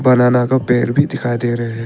बनाना का पेड़ भी दिखाई दे रहे--